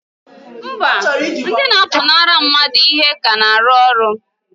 Mba! ndị na-apụnara mmadụ ihe ka na-arụ ọrụ.